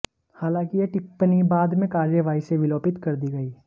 हालांकि यह टिप्पणी बाद में कार्यवाही से विलोपित कर दी गई